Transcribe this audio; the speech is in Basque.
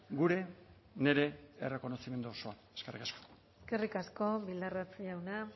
gure nire errokonozimendu osoa eskerrik asko eskerrik asko bildarratz jauna